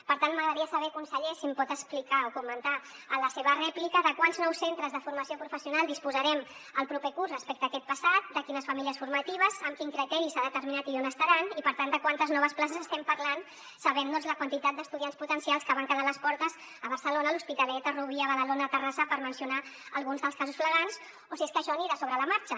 per tant m’agradaria saber conseller si em pot explicar o comentar en la seva rèplica de quants nous centres de formació professional disposarem el proper curs respecte a aquest passat de quines famílies formatives amb quin criteri s’ha determinat i on estaran i per tant de quantes noves places estem parlant sabent doncs la quantitat d’estudiants potencials que van quedar a les portes a barcelona l’hospitalet a rubí a badalona a terrassa per mencionar alguns dels casos flagrants o si és que això anirà sobre la marxa